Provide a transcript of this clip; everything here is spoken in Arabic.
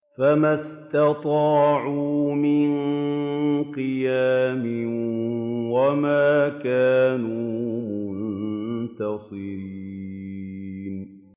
فَمَا اسْتَطَاعُوا مِن قِيَامٍ وَمَا كَانُوا مُنتَصِرِينَ